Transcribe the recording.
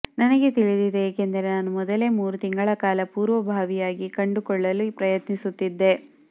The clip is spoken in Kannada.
ನನಗೆ ತಿಳಿದಿದೆ ಏಕೆಂದರೆ ನಾನು ಮೊದಲೇ ಮೂರು ತಿಂಗಳ ಕಾಲ ಪೂರ್ವಭಾವಿಯಾಗಿ ಕಂಡುಕೊಳ್ಳಲು ಪ್ರಯತ್ನಿಸುತ್ತಿದ್ದೆ